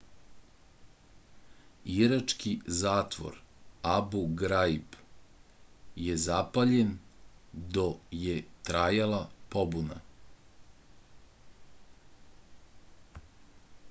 irački zatvor abu graib je zapaljen do je trajala pobuna